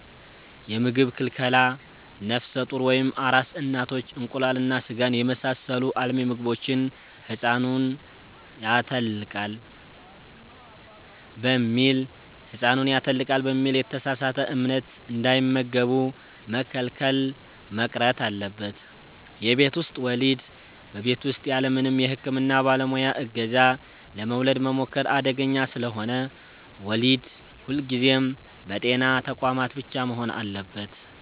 የምግብ ክልከላ፦ ነፍሰ ጡር ወይም አራስ እናቶች እንቁላልና ሥጋን የመሳሰሉ አልሚ ምግቦችን «ሕፃኑን ያተልቃል» በሚል የተሳሳተ እምነት እንዳይመገቡ መከልከል መቅረት አለበት። የቤት ውስጥ ወሊድ፦ በቤት ውስጥ ያለምንም የሕክምና ባለሙያ ዕገዛ ለመውለድ መሞከር አደገኛ ስለሆነ፣ ወሊድ ሁልጊዜም በጤና ተቋማት ብቻ መሆን አለበት።